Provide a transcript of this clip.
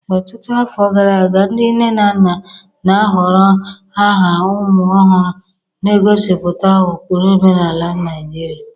Ọtụtụ afọ gara aga, ndị nne na nna na-ahọrọ aha ụmụ ọhụrụ na-egosipụta ụkpụrụ omenala Naijiria.